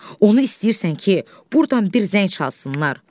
Onu istəyirsən ki, burdan bir zəng çalsınlar?